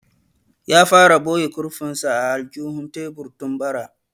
Ya fara boye kurfin sa a aljihun tebur tun bara